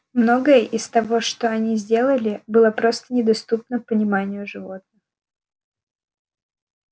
многое из того что они сделали было просто недоступно пониманию животных